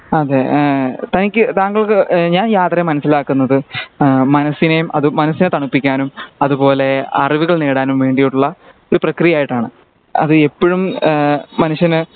അതെ ഏഹ് തനിക് താങ്കൾക്ക് ആഹ് ഞാൻ യാത്രയെ മനസിലാകുന്നത് അഹ് മനസിനേം മനസ്സിനെ തണുപ്പിക്കാനും അതുപോലെ അറിവുകൾ നേടാനും വേണ്ടിട്ടുള്ള ഒരു പ്രക്രിയ ആയിട്ടാണ് അത് ഇപ്പോഴും ആഹ് മനുഷ്യന്